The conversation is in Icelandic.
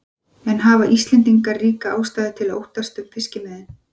En hafa Íslendingar ríka ástæðu til að óttast um fiskimiðin?